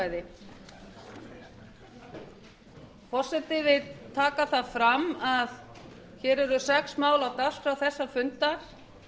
forseti vill taka það fram að sex mál eru á dagskrá þessa fundar